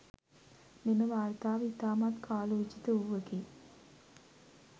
මෙම වාර්තාව ඉතාමත් කාලෝචිත වූවකි.